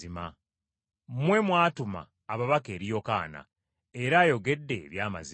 “Mmwe mwatuma ababaka eri Yokaana, era ayogedde eby’amazima.